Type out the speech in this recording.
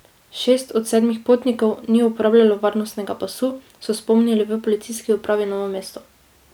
Šest od sedmih potnikov ni uporabljalo varnostnega pasu, so spomnili v Policijski upravi Novo mesto.